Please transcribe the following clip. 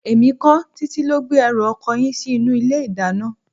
Èmi kọ́, Títí ló gbé ẹrù ọkọ yín sí inú ilé-ìdáná.